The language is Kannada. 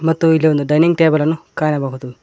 ಮತ್ತು ಇಲ್ಲಿ ಒಂದು ಡೈನಿಂಗ್ ಟೇಬಲ್ ಅನ್ನು ಕಾಣಬಹುದು.